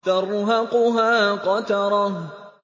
تَرْهَقُهَا قَتَرَةٌ